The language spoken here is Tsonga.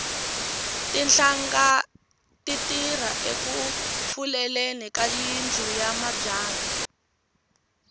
tinhlanga ti tirha eku fuleleni ka yindlu ya mabyanyi